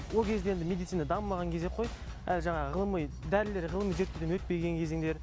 ол кезде енді медицина дамымаған кезек қой әлі жаңағы ғылыми дәрілер ғылыми зерттеуден өтпеген кезеңдер